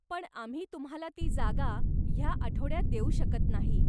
पण आम्ही तुम्हाला ती जागा ह्या आठवड्यात देऊ शकत नाही.